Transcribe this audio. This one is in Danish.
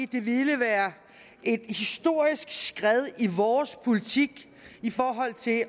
det ville være et historisk skred i vores politik i forhold til at